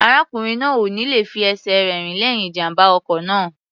Arákùnrin náà ò ní le fi ẹsẹ̀ rẹ̀ rìn lẹ́yìn ìjàm̀bá ọkọ̀ náà.